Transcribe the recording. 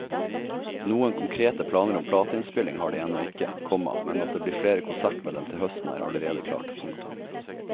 Noen konkrete planer om plateinnspilling har de ennå ikke, komma men at det blir flere konserter med dem til høsten er allerede klart. punktum